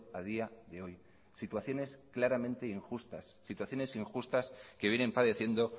a día de hoy situaciones claramente injustas situaciones injustas que vienen padeciendo